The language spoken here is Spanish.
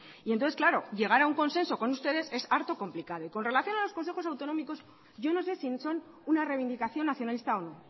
y entonces claro llegar a un consenso con ustedes es harto complicado y con relación a los consejos autonómicos yo no sé si son una reivindicación nacionalista o no